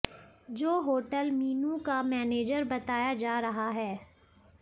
जो होटल मीनू का मैनेजर बताया जा रहा है